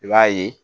I b'a ye